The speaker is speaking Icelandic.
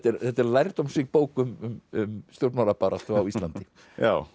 þetta er lærdómsrík bók um um stjórnmálabaráttu á Íslandi já